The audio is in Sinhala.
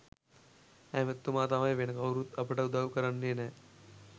ඇමතිතුමා තමයි වෙන කවුරුත් අපට උදවු කරන්නෙ නැහැ.